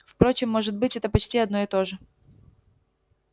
впрочем может быть это почти одно и то же